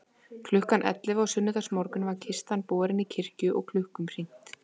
Klukkan ellefu á sunnudagsmorgun var kistan borin í kirkju og klukkum hringt.